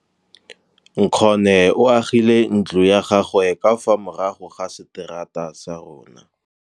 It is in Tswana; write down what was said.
Nkgonne o agile ntlo ya gagwe ka fa morago ga seterata sa rona.